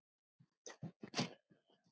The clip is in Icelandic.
Hún vínanda færir þér.